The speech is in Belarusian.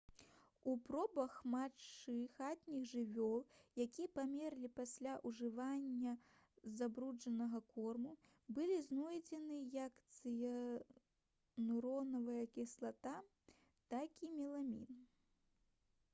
у пробах мачы хатніх жывёл якія памерлі пасля ўжывання забруджанага корму былі знойдзены як цыянуравая кіслата так і меламін